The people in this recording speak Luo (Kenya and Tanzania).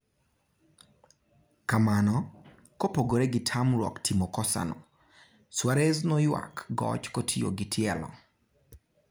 kamano, kopogore gi tamruok timo kosano, Suarez noyuak goch kotiyo gi tielo.